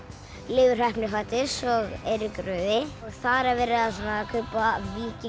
Leifur heppni fæddist svo Eiríkur rauði og þar er verið að kaupa